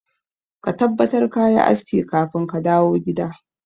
Ka tabbatar kayi aski kafin kadawo gida.